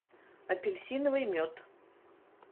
апельсиновый мед